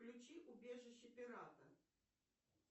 включи убежище пирата